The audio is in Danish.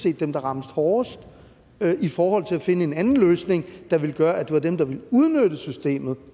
er dem der rammes hårdest i forhold til at finde en anden løsning der ville gøre at det er dem der vil udnytte systemet